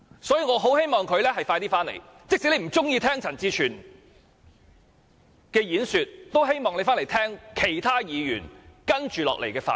所以，我很希望他盡快回來，即使他不喜歡聽陳志全的演說，也希望他回來聆聽其他議員接着下來的發言。